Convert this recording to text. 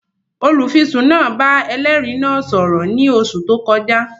Olùfisùn náà bá ẹlẹ́rìí náà sọ̀rọ̀ ní oṣù tó kọjá